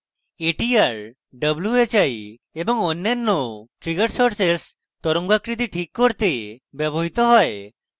atr whi এবং অন্যান্য trigger sources তরঙ্গাকৃতি ঠিক করতে ব্যবহৃত হয়